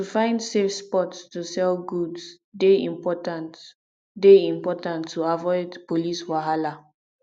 to find safe spots to sell goods dey important dey important to avoid police wahala